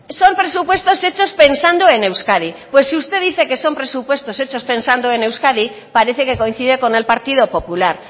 son presupuestos hechos pensando en euskadi pues si usted dice que son presupuestos hechos pensando en euskadi parece que coincide con el partido popular